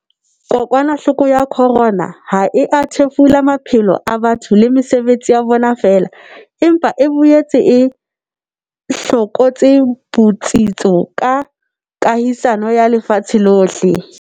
Kokwanahloko ya corona ha e a thefula maphelo a batho le mesebetsi ya bona feela, empa e boetse e hlokotse botsitso ba kahisano ya lefatshe lohle.